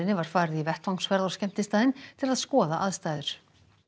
var farið í vettvangsferð á skemmtistaðinn til að skoða aðstæður